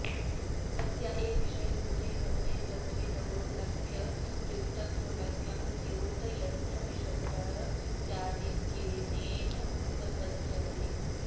तस्या एव विषयभूते भवने कर्तृदौर्लभ्यप्रयुक्तं दौर्लभ्यं द्योतयन्नपिशब्दः स्यादित्यनेन संबध्यते